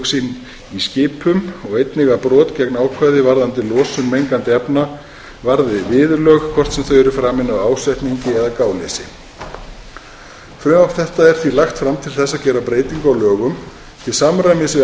sín í skipum og einnig að brot gegn ákvæði varðandi losun mengandi efna varði viðurlög hvort sem þau eru framin af ásetningi eða gáleysi frumvarp þetta er því lagt fram til að gera breytingu á lögum til samræmis við